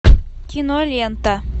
кинолента